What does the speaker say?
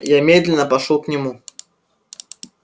я медленно пошёл к нему